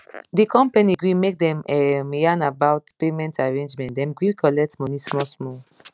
the company gree make dem um yan about payment arrangement dem gree colet money small small